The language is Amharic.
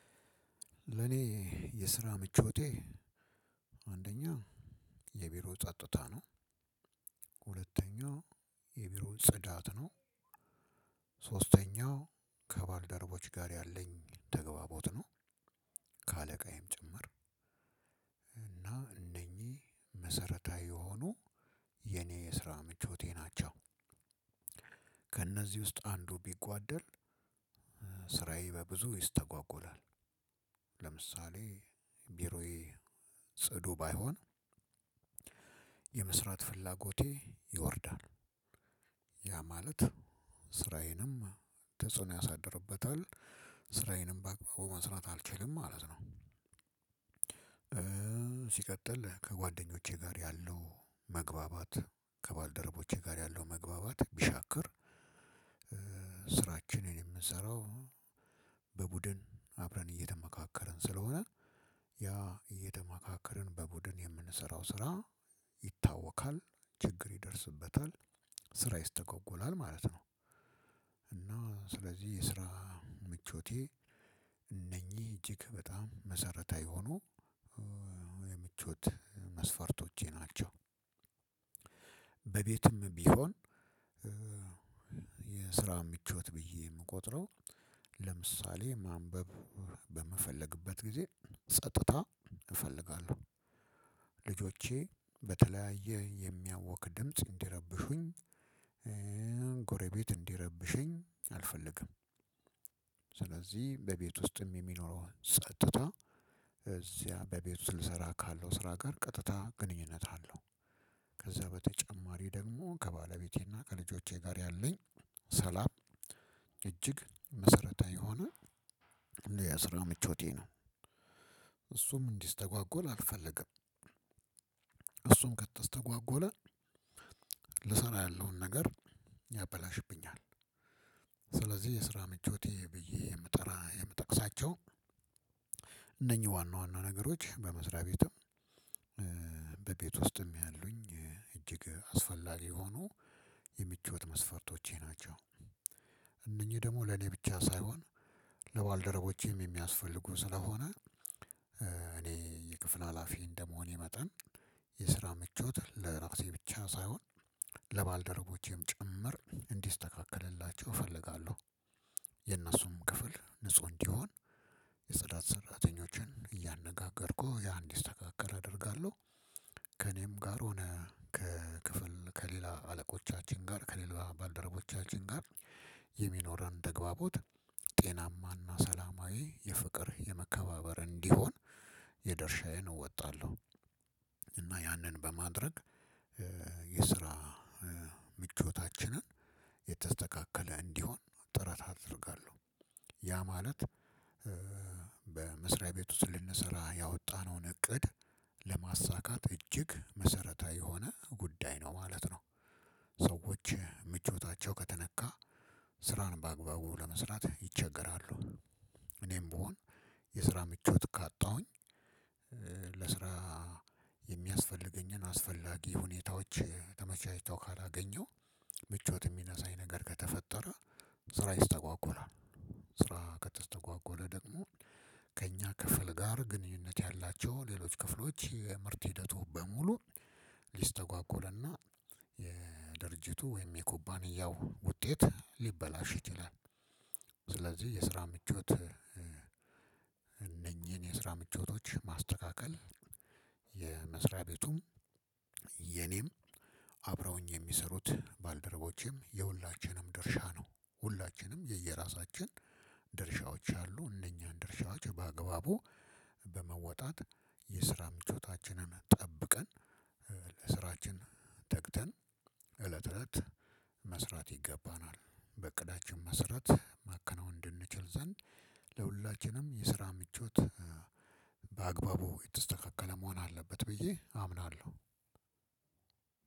ለኔ የስራ ምቾቴ አንደኛ የቢሮ ጸጥታ ነው። ሁለተኛው የቢሮውን ጽዳት ነው። ሶስተኛው ከባልደሮቦቼ ያለኝ ተግባቦት ነው። ከአለቃዬም ጭምር እና እነኚህ መሰረታዊ የሆኑ የኔ የስራ ምቾቴ ናቸው። ከእነዚህ ውስጥ አንዱ ቢጓደል ስራዬ በብዙ ይስተጓጎላል። ለምሳሌ ቢሮዬ ጽዱ ባይሆን የመስራት ፍላጎቴ ይወርዳል። ያ ማለት ስራዮንም ተጽዕኖ ያሳድርበታል ስራዬንም በአግባቡ መስራት አልችልም ማለት ነው። ሲቀጥል ከጓደኞቼ ጋር ያለው መግባባት ከባልደረቦቼ ጋር ያለው መግባባት ቢሻክር። ስራችንን የምንሰራው በቡድን አብረን እየተመካከርን ስለሆነ ያ እየተመካከርን በቡድን የምንሰራው ስራ ይታወካል ችግር ይደርስበታል ስራ ይስተጓጎላል ማለት ነው። እና ስለዚህ የስራ ምቾቴ እንኚህ እጅግ በጣም መሰረታዊ የሆኑ የምቾት መስፈርቶቼ ናቸው። በቤትም ቢሆን የስራ ምቾት ብዬ የምቆጥረው ለምሳሌ ማንበብ በምፈልግበት ጊዜ ጸጥታ እፈልጋለው። ልጆቼ በተለያየ የሚያውክ ድምጽ እንዲረብሹኝ ጎረቤት እንዲረብሸኝ አልፈልግም። ስለዚህ በቤት ውስጥም የሚኖረውን ጸጥታ እዚያ በቤት ውስጥ ልሰራ ካለው ስራ ጋር ቀጥታ ግንኙነት አለው። ከዛ በተጨማሪ ደሞ ከባለቤቴና ከልጆቼ ጋር ያለኝ ሰላም እጅግ መሰረታዊ የሆነ እንደ የስራ ምቾቴ ነው እሱም እንዲስተጓጎል አልፈልግም። እሱም ከተስተጓጎለ ልሰራ ያለውን ነገር ያበላሽብኛል። ስለዚህ የስራ ምቾቴ ብዬ ምጠራ የምጠቅሳቸው እነኚህ ዋና ዋና ነገሮች በመስሪያ ቤትም በቤት ውስጥም ያሉኝ እጅግ አስፈላጊ ሆኖ የምቾት መስፈርቶቼ ናቸው። እነኚህ ደሞ ለኔ ብቻ ሳይሆን ለባልደረቦቼም የሚያስፈልጉ ስለሆነ እኔ የክፍል ሀላፊ እንደመሆኔ መጠን የስራ ምቾት ለራሴ ብቻ ሳይሆን ለባልደሮቦቼ ጭምር እንዲስተካከልላቸው እፈልጋለው። የእነሱም ክፍል ንጹህ እንዲሆን የጽዳት ሰራተኞችን እያነጋገርኩ ያ እንዲስተካከል አደርጋለው። ከእኔም ጋር ሆነ ከክፍል ከሌላ አለቆቻችን ጋር ከሌላ ባልደረቦቻችን ጋር የሚኖረን ተግባቦት ጤናማና ሰላማዊ የፍቅር የመከባበር እንዲሆን የድርሻዬን እወጣለው። እና ያንን በማድረግ የስራ ምቾታችንን የተስተካከለ እንዲሆን ጥረት አደርጋለው። ያ ማለት በመስሪያ ቤት ውስጥ ልንሰራ ያወጣነውን እቅድ ለማሳካት እጅግ መሰረታዊ የሆነ ጉዳይ ነው ማለት ነው። ሰዎች ምቾታቸው ከተነካ ስራን በአግባቡ ለመስራት ይቸገራሉ። እኔም ቢሆን የስራ ምቾት ካጣሁኝ ለስራ የሚያስፈልገኝን አስፈላጊ ሁኔታዎች ተመቻችተው ካላገኘው ምቾት የሚነሳኝ ነገር ከተፈጠረ ስራ ይስተጓጎላል። ስራ ከተስተጓጎለ ደግሞ ከእኛ ክፍል ጋር ግንኙነት ያላቸው ሌሎች ክፍሎች የምርት ሂደቱ በሙሉ ሊስተጓጉልና የድርጅቱ ወይም የኩባንያው ውጤት ሊበላሽ ይችላል። ከአለቃዬም ጭምር እና እነኚህ መሰረታዊ የሆኑ የኔ የስራ ምቾቴ ናቸው። የመስሪያ ቤቱም የኔም አብረውኝ የሚሰሩት ባልደረቦቼም የሁላችንም ድርሻ ነው ሁላችንም የየራሳችን ድርሻዎች አሉ እነኛን ድርሻዎች በአግባቡ በመወጣት የስራ ምቾታችንን ጠብቀን በስራችን ተግተን ዕለተ ተለት መስራት ይገባናል። በዕቅዳችን መሰረት ማከናወን እንድንችል ዘንድ የሁላችንም የስራ ምቾት በአግባቡ የተስተካከለ መሆን አለበት ብዬ አምናለው።